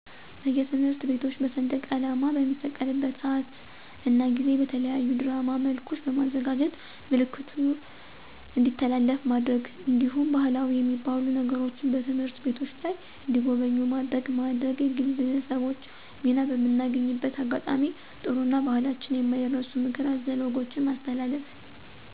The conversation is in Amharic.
በየትምህርት ቤቶች በሰንደቃላማ በሚሰቀልበት ስአት እና ጊዜ በተለያዩ ድራማ መልኮች በማዘጋጀት ምልክቱ እንዲተላለፍ ማድረግ። እንዲሁም ባህላዊ የሚባሉ ነገሮችን በትምህርት ቤቶች ላይ እንዲጎበኙ ማድረግ ማድረግ። የግለሰቦች ሚና በምናገኝበት አጋጣሚ ጥሩ እና በህላችን የማይረሱ ምክረ አዘል ወጎችን ማስተላለፍ